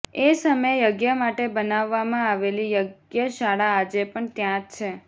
એ સમયે યજ્ઞ માટે બનાવવામાં આવેલી યજ્ઞશાળા આજે પણ ત્યાં જ છે